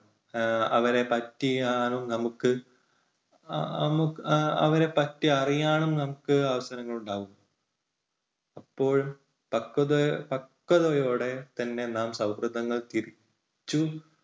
എഹ് അവരെപ്പറ്റി അറിയാനും നമുക്ക് അവരെപ്പറ്റി അറിയാനും നമുക്ക് അവസരങ്ങൾ ഉണ്ടാകും. അപ്പോഴും പക്വത പക്വതയോടെ തന്നെ നാം സൗഹൃദങ്ങൾ തിരിച്ചു